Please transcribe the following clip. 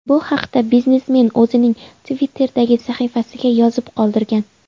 Bu haqda biznesmen o‘zining Twitter’dagi sahifasiga yozib qoldirgan .